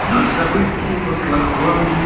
но события в оклахоме